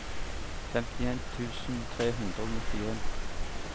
femtien tusen tre hundre og nittien